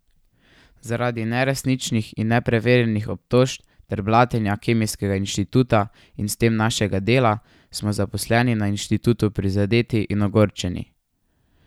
Zaradi neresničnih in nepreverjenih obtožb ter blatenja Kemijskega inštituta in s tem našega dela smo zaposleni na inštitutu prizadeti in ogorčeni.